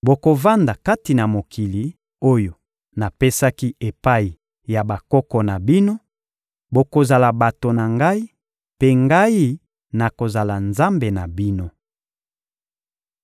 Bokovanda kati na mokili oyo napesaki epai ya bakoko na bino; bokozala bato na Ngai, mpe Ngai, nakozala Nzambe na bino.